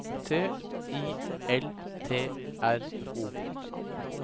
T I L T R O